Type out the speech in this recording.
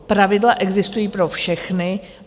Pravidla existují pro všechny.